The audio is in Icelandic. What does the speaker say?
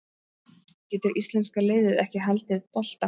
Getur íslenska liðið ekki haldið bolta?